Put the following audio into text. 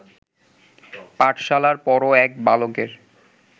পাঠশালার পড়ো এক বালকের